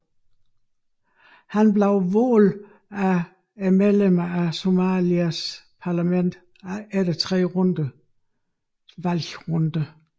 Han blev valgt af medlemmerne af Somalias parlament efter 3 valgrunder